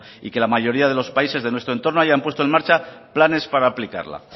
y que la mayoría de los países de nuestro entorno hayan puesto en marcha planes para aplicarla